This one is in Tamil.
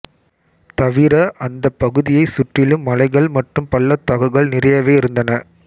தவிர அந்தப் பகுதியைச் சுற்றிலும் மலைகள் மற்றும் பள்ளத்தாக்குகள் நிறையவே இருந்தன